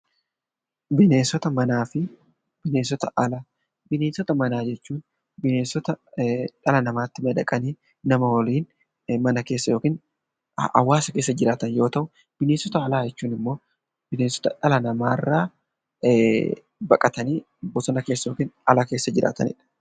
Bineensota manaa jechuun bineensota dhala namaatti madaqanii nama waliin jiraatan yoo ta'u bineensota alaa jechuun immoo bineensota nama baqatanii bosona keessa yookiin ala jiraatan jechuudha.